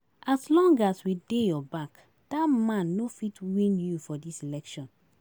As long as we dey your back, dat man no fit win you for dis election